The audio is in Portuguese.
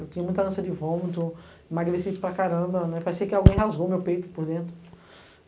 Eu tinha muita ânsia de vômito, emagreci para caramba, parecia que alguém rasgou meu peito por dentro.